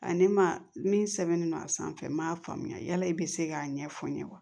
Ani ma min sɛbɛnnen don a sanfɛ n m'a faamuya yala i bɛ se k'a ɲɛfɔ n ye wa